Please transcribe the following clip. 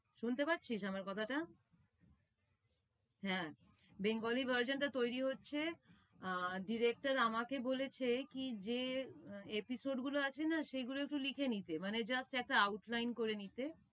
শুনতে পারছিস আমার কথাটা? হ্যাঁ bangali version টা তৈরী হচ্ছে আর director আমাকে বলেছে কি যে, episode গুলো আছে না সেগুলো একটু লিখে নিতে। মানে just একটা outline করে নিতে।